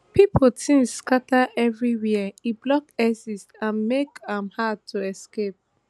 pipo tins scata evri wia e block exits and make am hard to escape